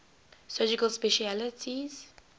surgical specialties